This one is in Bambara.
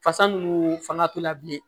Fasa ninnu fanga to la bilen